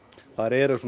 þær eru